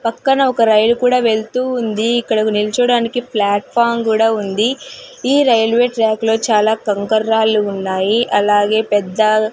పక్కన ఒక రైలు కూడా వెళ్తూ ఉంది ఇక్కడ ఒక నిల్చోవడానికి ప్లాట్ఫారం కూడా ఉంది ఈ రైల్వే ట్రాక్ లో చాలా కంకర రాళ్ళు ఉన్నాయి అలాగే పెద్ద.